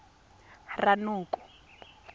ranoko